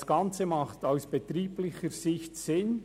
Dieser Standortwechsel macht aus betrieblicher Sicht Sinn: